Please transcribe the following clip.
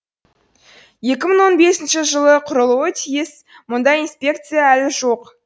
екі мын он бесінші жылы құрылуы тиіс мұндай инспекция әлі жоқ